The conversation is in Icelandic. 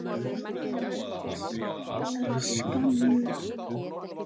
Margs er að sakna.